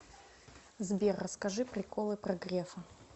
сбер расскажи приколы про грефа